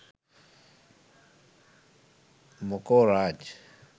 මොකෝ රාජ්.